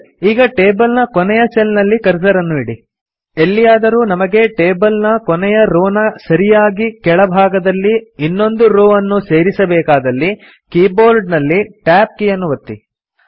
ಸರಿ ಈಗ ಟೇಬಲ್ ನ ಕೊನೆಯ ಸೆಲ್ ನಲ್ಲಿ ಕರ್ಸರ್ ಅನ್ನು ಇಡಿ ಎಲ್ಲಿಯಾದರೂ ನಮಗೆ ಟೇಬಲ್ ನ ಕೊನೆಯ ರೋ ನ ಸರಿಯಾಗಿ ಕೆಳ ಭಾಗದಲ್ಲಿ ಇನ್ನೊಂದು ರೋ ಅನ್ನು ಸೇರಿಸಬೇಕಾದಲ್ಲಿ ಕೀಬೋರ್ಡ್ ನಲ್ಲಿ Tab ಕೀಯನ್ನು ಒತ್ತಿ